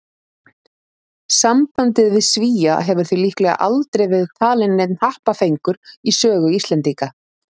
Sambandið við Svía hefur því líklega aldrei verið talinn neinn happafengur í sögu Íslendinga.